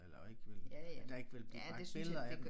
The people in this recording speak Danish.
Eller ikke vil der ikke vil blive bragt billeder af dem